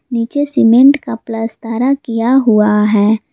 नीचे सीमेंट का फ्लस्तारा किया हुआ है।